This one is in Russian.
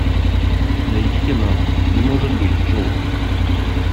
найди кино не может быть джоуз